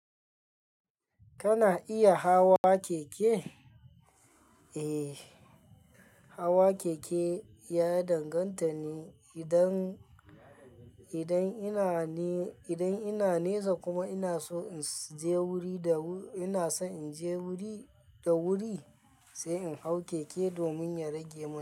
Kana iya hawa keke? Eh, hawa keke ya danganta ne idan, idan ina ne, idan ina nesa kuma ina so in je wuri da, ina so in je wuri da wuri sai in hau keke domin ya rage mun.